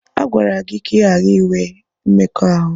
A gwara gị ka ị ghara inwe mmekọahụ!